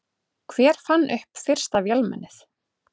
Hver fann upp fyrsta vélmennið?